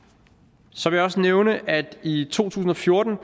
så vil jeg også nævne at der i to tusind og fjorten